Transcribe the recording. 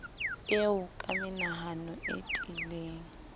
eo ka menahano e tiileng